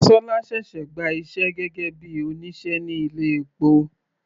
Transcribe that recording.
Dasola ṣẹ̀ṣẹ̀ gba iṣẹ́ gẹ́gẹ́ bíi òṣìṣẹ́ ní ilé epo.